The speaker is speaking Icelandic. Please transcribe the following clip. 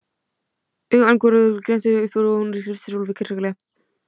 Augu Angurboðu glenntust upp og hún hristi Úlf harkalega.